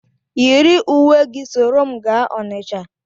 Yiri uwe gị soro m gaa Onitsha!